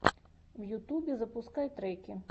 в ютубе запускай треки